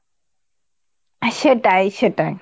সেটাই সেটাই